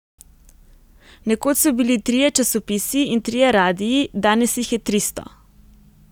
Nekoč so bili trije časopisi in trije radii, danes jih je tristo.